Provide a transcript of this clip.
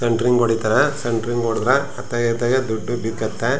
ಸೆಂಟರಿಂಗ್ಗೆ ಹೊಡೀತಾರೆ ಸೆಂಟರಿಂಗ್ಗೆ ಗೆ ಹೋಡಿದ್ರೆ ಅತ್ಲಗೆ ಇತ್ಲಗೆ ದುಡ್ಡು ಬಿಕತ್ತೆ .